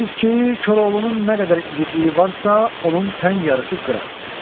Deyirsiz ki, Koroğlunun nə qədər igidliyi varsa, onun tən yarısı Qıratdır.